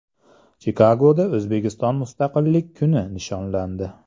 Chikagoda O‘zbekiston Mustaqillik kuni nishonlandi.